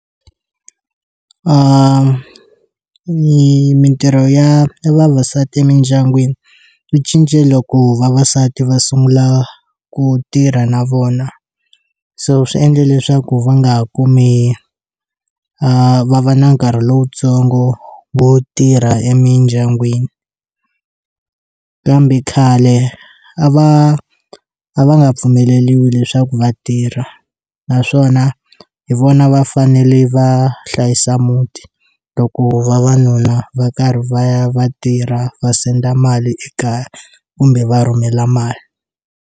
I mintirho ya vavasati emindyangwini swi cince loko vavasati va sungula ku tirha na vona so swi endle leswaku va nga kumi a va va na nkarhi lowutsongo vo tirha emindyangwini kambe khale a va a va nga pfumeleriwi leswaku vatirha naswona hi vona va fanele va hlayisa muti loko vavanuna va karhi va ya va tirha va senda mali ekaya kumbe va rhumela mali.